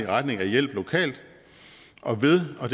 retning af hjælp lokalt og ved og